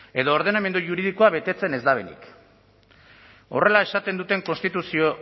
edo ordenamendu juridikoa betetzen ez dutenik